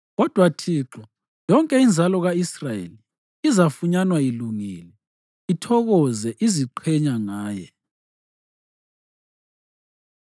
Kodwa Thixo yonke inzalo ka-Israyeli izafunyanwa ilungile, ithokoze iziqhenya ngaye.